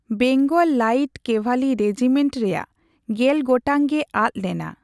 Bengal light cavalry regiment ᱨᱮᱭᱟᱜ ᱜᱮᱞ ᱜᱚᱴᱟᱝ ᱜᱮ ᱟᱫ ᱞᱮᱱᱟ ᱾